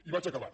i vaig acabant